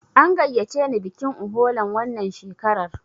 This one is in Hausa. An gayyace ni bikin Uholan wannan shekarar.